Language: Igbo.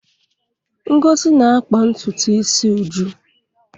Ngozi na-akpa ntutu isi Uju.